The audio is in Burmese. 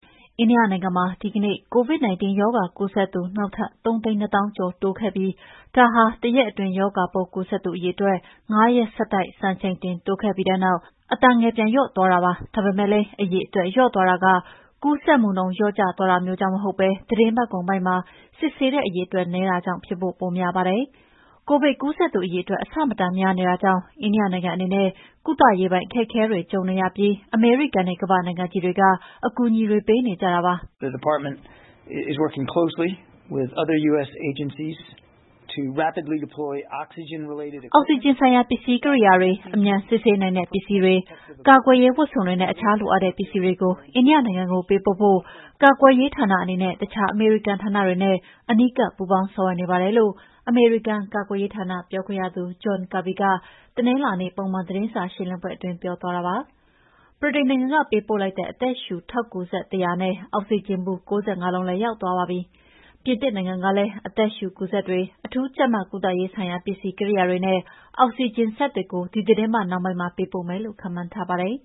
အိန္ဒိယနိုင်ငံမှာ ဒီကနေ့ COVID-19 ရောဂါကူးစက်သူ နောက်ထပ် ၃၂၀,၀၀၀ ကျော် ထပ်တိုးခဲ့ပြီး ဒါဟာဖြင့် တရက်အတွင်း ရောဂါပိုးကူးစက်သူအရေအတွက် ငါးရက်ဆက်တိုက် စံချိန်တင်တိုးခဲ့ပြီးတဲ့နောက် အတန်ငယ် ပြန်လျော့သွားတာပါ။ ဒါပေမဲ့လည်း အရေအတွက်လျော့သွားတာက ကူးစက်နှုန်း လျော့သွားတာမျိုးကြောင့် မဟုတ်ဘဲ သီတင်းပတ်ကုန်ပိုင်းမှာ စစ်ဆေးတဲ့အရေအတွက် နည်းတာကြောင့် ပိုဖြစ်ဖို့များပါတယ်။ ကိုဗစ်ကူးစက်သူအရေအတွက် အဆမတန်များနေတာကြောင့် အိန္ဒိယနိုင်ငံအနေနဲ့ ကုသရေးပိုင်း အခက်အခဲတွေ ကြုံနေရပြီး အမေရိကန်နဲ့ ကမ္ဘာ့နိုင်ငံကြီးတွေက အကူအညီပေးနေကြပါတယ်။ "အောက်ဆီဂျင်ဆိုင်ရာ ပစ္စည်းကိရိယာတွေ၊ အမြန်စစ်ဆေးနိုင်တဲ့ပစ္စည်းတွေ၊ ကာကွယ်ရေးဝတ်စုံတွေနဲ့ တခြားလိုအပ်တဲ့ပစ္စည်းတွေကို အိန္ဒိယနိုင်ငံကိုပေးပို့ဖို့ ကာကွယ်ရေးဌာနအနေနဲ့ တခြား အမေရိကန်ဌာနတွေနဲ့ အနီးကပ်ပူးပေါင်းဆောင်ရွက်နေပါတယ်။" လို့ အမေရိကန် ကာကွယ်ရေးဌာနပြောခွင့်ရ John Kirby က တနင်္လာနေ့ ပုံမှန်သတင်းစာရှင်းလင်းပွဲအတွင်း ပြောသွားပါတယ်။ ဗြိတိန်နိုင်ငံက ပေးပို့လိုက်တဲ့ အသက်ရှုထောက်ကူစက် ၁၀၀ နဲ့ အောက်ဆီဂျင်ဘူး ၉၅ လုံးလည်း ရောက်သွားပါပြီ။ ပြင်သစ်နိုင်ငံကလည်း အသက်ရှုစက်တွေ၊ အထူးကြပ်မတ်ကုသရေးဆိုင်ရာ ပစ္စည်းကိရိယာတွေနဲ့ အောက်ဆီဂျင်စက်တွေကို ဒီသီတင်းပတ်နှောင်းပိုင်းမှာ ပေးပို့မယ်လို့ ခန့်မှန်းထားပါတယ်